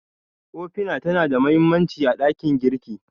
Ofina tana da mahimmanci a ɗakin girki.